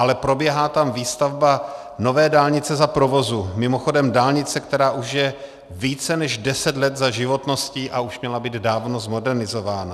Ale probíhá tam výstavba nové dálnice za provozu, mimochodem dálnice, která už je více než deset let za životností a už měla být dávno zmodernizována.